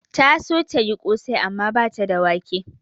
Ta so tayi ƙosai amma bata da wake